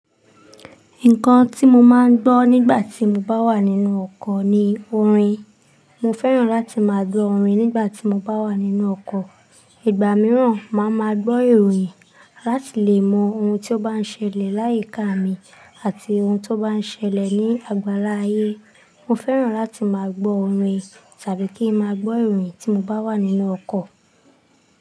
Nǹkan tí mo máa ń gbọ́ nígbà tí mo bá wà nínú ọkọ̀ ni orin. Mo fẹ́ràn láti máa gbọ́ orin nígbà tí mo bá wà nínú ọkọ̀. Ìgbà mìíràn, màá máa gbọ́ ìròyìn láti lè mọ ohun tí ó bá ń ṣẹlẹ̀ láyìíká mi àti ohun tó bá ń ṣẹlẹ̀ ní àgbàlá ayé. Mo fẹ́ràn láti máa gbọ́ orin tàbí kí ń máa gbọ́ ìròyìn tí n bá wà nínú ọkọ̀.